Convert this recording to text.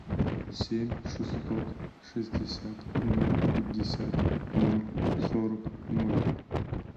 семь шестьсот шестьдесят ноль пятьдесят ноль сорок ноль